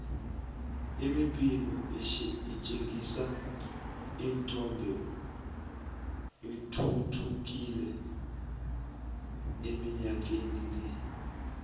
imibhino etjhengisa ithombe ithuthukile iminyakeni le